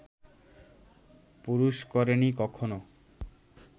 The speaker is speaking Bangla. পুরুষ করেনি কখনও